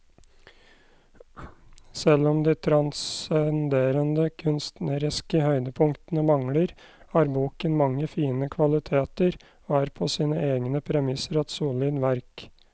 Selv om de transcenderende kunstneriske høydepunktene mangler, har boken mange fine kvaliteter og er på sine egne premisser et solid verk.